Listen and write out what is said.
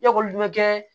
Ekɔliden bɛ kɛ